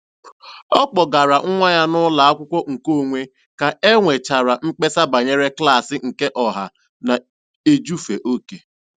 Ọ kpọgara nwa ya n'ụlọakwụkwọ nke onwe ka e nwechara mkpesa banyere klaasị nke ọha na-ejufe oke.